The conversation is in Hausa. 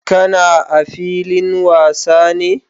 Ka na a filin wasa ne?